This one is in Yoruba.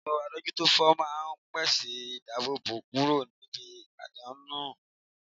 Eto adojutofo maa n pese idabobo kuro nibi adanu owo